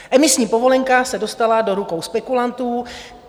Emisní povolenka se dostala do rukou spekulantů.